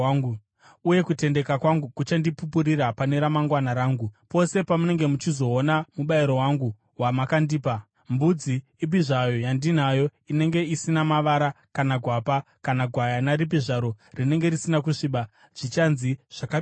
Uye kutendeka kwangu kuchandipupurira pane ramangwana rangu, pose pamunenge muchizoona mubayiro wangu wamakandipa. Mbudzi ipi zvayo yandinayo inenge isina mavara kana gwapa, kana gwayana ripi zvaro rinenge risina kusviba, zvichanzi zvakabiwa.”